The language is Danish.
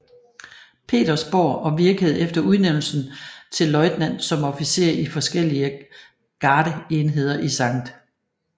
Petersborg og virkede efter udnævnelsen til løjtnant som officer i forskellige gardeenheder i St